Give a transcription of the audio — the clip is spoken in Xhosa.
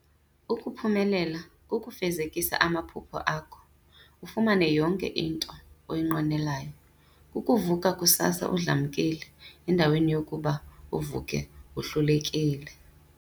Ukuphumelela kukufezekisa amaphupha akho ,ufumane yonke into oyinqwenelayo .Kukuvuka kusasa udlamkile endaweni yokuba uvuke wohlulekile.